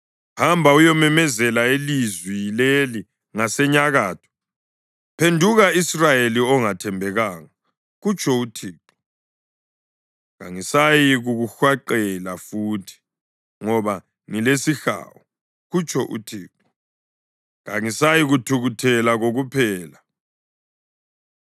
Hamba, uyememezela ilizwi leli ngasenyakatho: ‘Phenduka Israyeli ongathembekanga,’ kutsho uThixo, ‘Kangisayikukuhwaqela futhi, ngoba ngilesihawu,’ kutsho uThixo. ‘Kangiyikuthukuthela kokuphela.